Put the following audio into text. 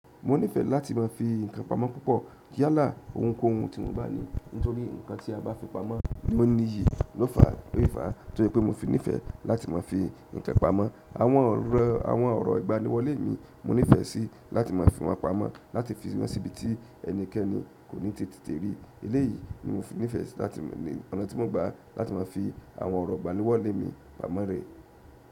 Mo nífẹẹ láti má a fi ǹkan pamọ́ púpọ̀, yalá ohunkóhun tí mo bá ní nítorí ǹkan tí a bá fi pamọ́ ni ó n ní iyì lofà lọ́sì fà. Torí pé mo fi nífẹẹ láti má a fi ǹkan pamọ́, àwọn ọrọ, àwọn ọ̀rọ̀ ìgbaniwọlé mi mo nífẹẹ sí láti má a fi wọ́n pamọ́, láti fi wọ́n sí ibi tí ẹnikẹ́ni kò ní ti tètè rí. Eléyìí ni mo fi nífẹẹ si láti ní ọ̀nà tí mo gbá láti má a fi àwọn ọ̀rọ̀ ìgbaniwọ́lé mi pamọ́ rẹ̀.